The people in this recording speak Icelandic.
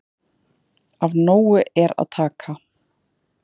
Af nógu er að taka